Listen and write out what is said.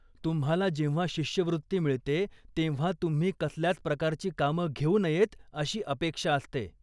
तुम्हाला जेव्हा शिष्यवृत्ती मिळते तेव्हा तुम्ही कसल्याच प्रकारची कामं घेऊ नयेत अशी अपेक्षा असते.